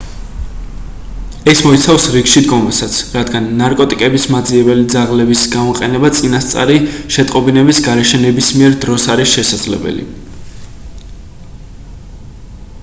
ეს მოიცავს რიგში დგომასაც რადგან ნარკოტიკების მაძიებელი ძაღლების გამოყენება წინასწარი შეტყობინების გარეშე ნებისმიერ დროს არის შესაძლებელი